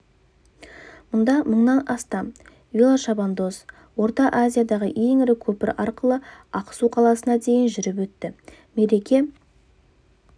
мұнда мыңнан астам велошабандоз орта азиядағы ең ірі көпір арқылы ақсу қаласына дейін жүріп өтті мереке